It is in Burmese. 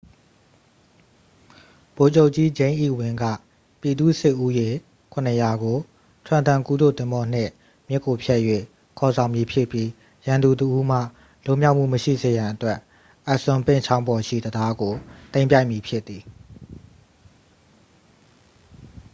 ဗိုလ်ချုပ်ကြီး ဂျိမ်းအီဝင်း က ပြည်သူ့စစ်ဦးရေ 700 ကို trenton ကူးတို့သင်္ဘောနှင့် မြစ်ကိုဖြတ်၍ ခေါ်ဆောင်မည်ဖြစ်ပြီး ရန်သူတစ်ဦးမှ လွန်မြောက်မှုမရှိစေရန်အတွက် assunpink ချောင်းပေါ်ရှိ တံတားကို သိမ်းပိုက်မည်ဖြစ်သည်